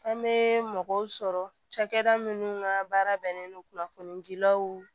An bɛ mɔgɔw sɔrɔ cakɛda minnu ka baara bɛnnen don kunnafonidilaw